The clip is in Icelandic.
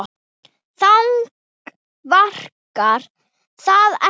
Þannig virkar það ekki.